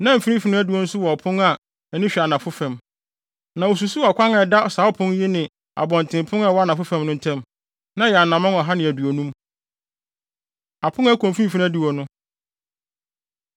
Na mfimfini no adiwo nso wɔ ɔpon a ani hwɛ anafo fam, na osusuw ɔkwan a ɛda saa ɔpon yi ne abɔntenpon a ɛwɔ anafo fam no ntam; na ɛyɛ anammɔn ɔha ne aduonum. Apon A Ɛkɔ Mfimfini Adiwo No